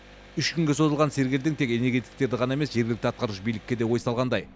үш күнге созылған сергелдең тек энергетиктерді ғана емес жергілікті атқарушы билікке де ой салғандай